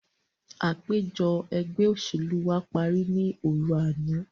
Àpèjọ ẹgbẹ́ òṣèlú wa parí ní òru àná.